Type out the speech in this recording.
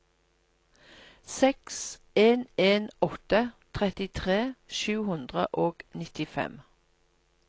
seks en en åtte trettitre sju hundre og nittifem